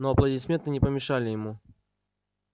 но аплодисменты не помешали ему